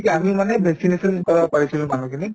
আমি মানে vaccination কৰাব পাৰিছিলো মানুহখিনিক